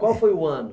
Qual foi o ano?